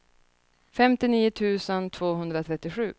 femtionio tusen tvåhundratrettiosju